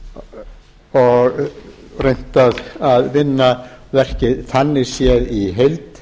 og reynt að vinna verkið þannig séð í heild